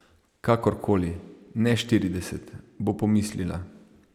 Kakor koli, ne štirideset, bo pomislila.